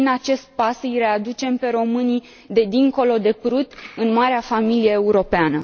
Prin acest pas îi readucem pe românii de dincolo de Prut în marea familie europeană.